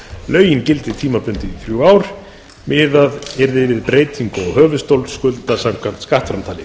lögin gildi tímabundið í þrjú ár miðað yrði við breytingu á höfuðstól skulda samkvæmt skattframtali